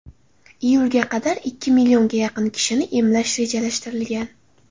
Iyulga qadar ikki millionga yaqin kishini emlash rejalashtirilgan.